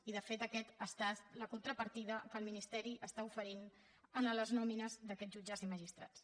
i de fet aquesta ha estat la contrapartida que el ministeri està oferint a les nòmines d’aquests jutges i magistrats